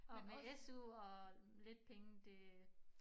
Men med SU og lidt penge det